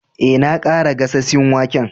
Eh, na kara gasasen waken.